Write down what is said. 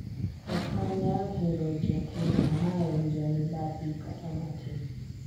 ok anyal hero jakeno ma en jamibadhi kata matin